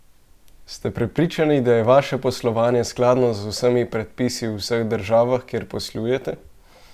Ste prepričani, da je vaše poslovanje skladno z vsemi predpisi v vseh državah, kjer poslujete?